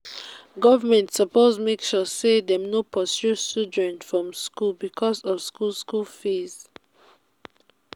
government suppose make sure sey dem no pursue children from skool because of skool skool fees.